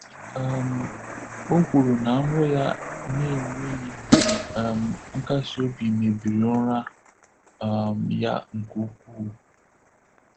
um O kwuru na nrọ ya na-enweghị um nkasi obi mebiri ụra um ya nke ukwuu.